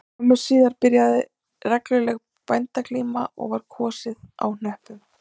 Skömmu síðar byrjaði regluleg bændaglíma og var kosið á hnöppum